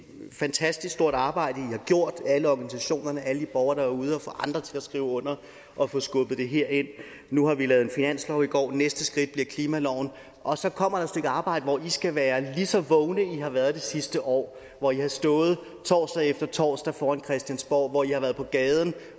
fantastisk stort arbejde i har gjort alle organisationerne og alle i borgere der ude at få andre til at skrive under og få skubbet det herind nu har vi lavet en finanslov i går næste skridt bliver klimaloven og så kommer der et stykke arbejde hvor i skal være lige så vågne som i har været det sidste år hvor i har stået torsdag efter torsdag foran christiansborg hvor i har været på gaden